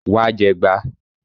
Wá jẹgba!